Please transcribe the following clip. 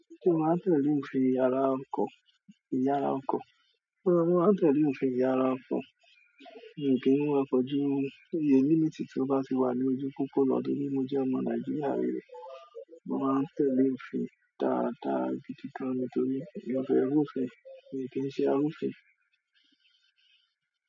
Ṣé o máa ń tẹ̀lé òfin ìyara ọkọ̀, ìyara ọkọ̀. Mo máa ń tẹ̀lé òfin ìyára ọkọ̀ mi kí wa ọkọ̀ jù iye minute tí o bá ti wà ní ojupopona torí mo jẹ ọmọ Naijiria rere. Mo máa ń tẹ̀lé òfin dáadáa gidi gán ní torí mi o fẹ́ rú òfin, èmí kì í ṣe arúfin.